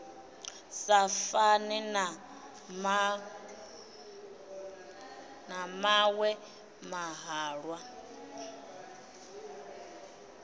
sa fane na maṅwe mahalwa